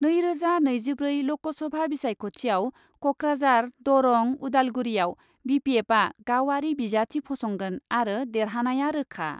नैरोजा नैजिब्रै ल'कसभा बिसायख'थियाव क'क्राझार, दरं, उदालगुरियाव बि पि एफआ गावआरि बिजाथि फसंगोन आरो देरहानाया रोखा।